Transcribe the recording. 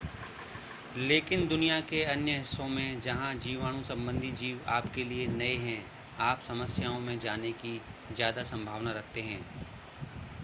लेकिन दुनिया के अन्य हिस्सों में जहां जीवाणु संबंधी जीव आपके लिए नए हैं आप समस्याओं में जाने की ज़्यादा संभावना रखते हैं